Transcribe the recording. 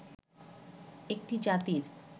একটি জাতির